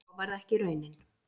Svo varð ekki raunin